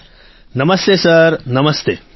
રાજેશ પ્રજાપતિઃ નમસ્તે સર નમસ્તે